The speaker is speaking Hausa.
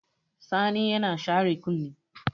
Sani yana share kunni.